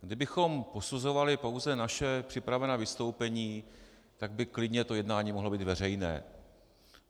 Kdybychom posuzovali pouze naše připravená vystoupení, tak by klidně to jednání mohlo být veřejné.